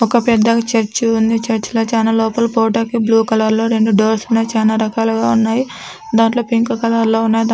పెద్దగా చర్చి ఉంది. చర్చి లో చానా లోపలి పోవడానికి బ్లూ కలర్ లో రెండు డోర్స్ ఉన్నాయి. చాలా రకాలుగా ఉన్నాయి. దాంట్లో పింకో కలర్ లో ఉన్నాయి.